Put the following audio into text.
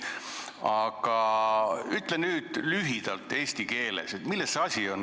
Aga ütle nüüd lühidalt eesti keeles, milles see asi on.